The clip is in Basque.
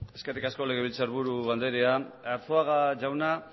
eskerrik asko legebiltzarburu andrea arzuaga jauna